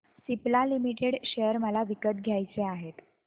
Cipla limited share मला विकत घ्यायचे आहेत